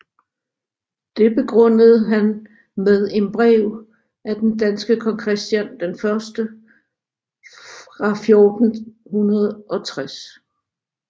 Det begrundede han med en brev af den danske kong Christian den første fra 1460